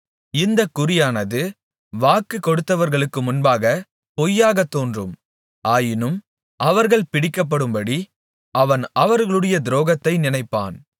இந்த குறியானது வாக்கு கொடுத்தவர்களுக்கு முன்பாகப் பொய்யாகத் தோன்றும் ஆயினும் அவர்கள் பிடிக்கப்படும்படி அவன் அவர்களுடைய துரோகத்தை நினைப்பான்